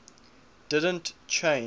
didn t change